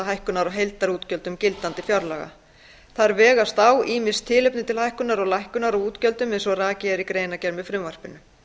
á heildarútgjöldum gildandi fjárlaga þar vegast á ýmis tilefni til hækkunar og lækkunar á útgjöldum eins og rakið er í greinargerð með frumvarpinu